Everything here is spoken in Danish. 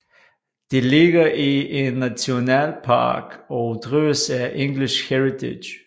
Det ligger i en nationalpark og drives af English Heritage